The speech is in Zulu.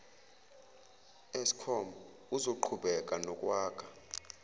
eskom uzoqhubeka nokwakha